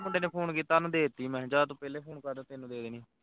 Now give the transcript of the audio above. ਮੁੰਡੇ ਨੇ phone ਕੀਤਾ ਉਹਨੂੰ ਦੇ ਦਿੱਤੀ ਮੈਂ ਜਾਂ ਤੂੰ ਪਹਿਲਾਂ phone ਕਰਦਾ ਤੈਨੂੰ ਦੇ ਦੇਣੀ ਸੀ